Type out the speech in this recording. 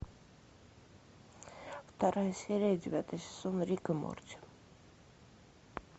вторая серия девятый сезон рик и морти